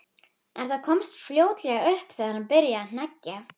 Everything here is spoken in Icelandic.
En það komst fljótlega upp þegar hann byrjaði að hneggja.